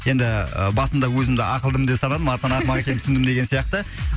енді басында өзімді ақылдымын деп санадым артынан ақымақ екенімді түсіндім деген сияқты